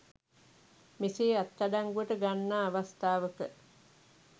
මෙසේ අත්අඩංගුවට ගන්නා අවස්ථාවක